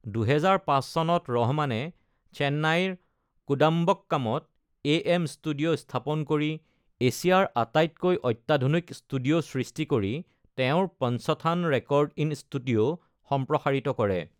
২০০৫ চনত ৰহমানে চেন্নাইৰ কোডাম্বক্কামত এ.এম ষ্টুডিঅ' স্থাপন কৰি এছিয়াৰ আটাইতকৈ অত্যাধুনিক ষ্টুডিঅ' সৃষ্টি কৰি তেওঁৰ পঞ্চথান ৰেকৰ্ড ইন ষ্টুডিঅ' সম্প্ৰসাৰিত কৰে।